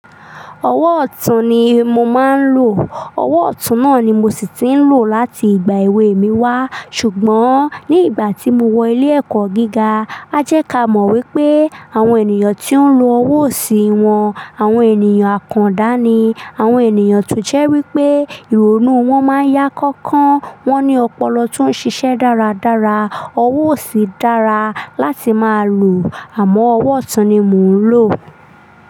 Ọwọ́ ọ̀tún ni mo máa ń lò. Ọwọ́ ọ̀tún náà ni mo sì ti ń lò láti ìgbà èwe mi wá. Ṣùgbọ́n ní ìgbà tí mo wọ ilé ẹ̀kọ́ gíga, a jẹ ká mọ̀ wípé àwọn ènìyàn tó ń lo ọwọ́ òsì wọn, àwọn ènìyàn àkàndá ni. Àwọn ènìyàn tó jẹ́ wípé ìrònú wọn máa ń yá kánkán. Wọn ní ọpọlọ tó ń ṣiṣẹ́ dáradára. Ọwọ́ òsì dára láti máa lò àmọ́ ọwọ́ ọ̀tún ni mò ń lò.